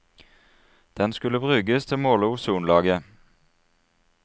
Den skulle brukes til å måle ozonlaget.